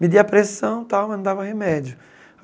Me dia pressão e tal, mas não dava remédio.